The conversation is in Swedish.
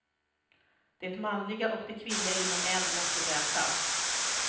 Det manliga och det kvinnliga inom en måste mötas.